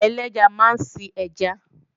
Àgbẹ̀ ẹlẹ́ja máa ń sin ẹja